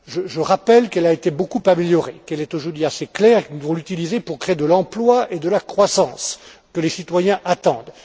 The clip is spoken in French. débats. Je rappelle qu'elle a été beaucoup améliorée, qu'elle est aujourd'hui assez claire et que nous pouvons l'utiliser pour créer de l'emploi et de la croissance, que les citoyens attendent.